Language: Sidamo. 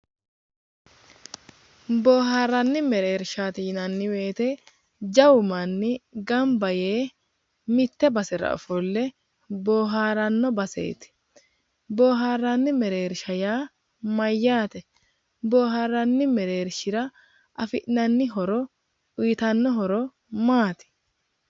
Bohaarranni mereershaati yinanni woyite jawu manni ganba yee mitte basera ofolle booharanno baseeti booharranni mereerisha yaa Mayyaate booharranni mereershira afi'nanni horo uyitanno horo maati?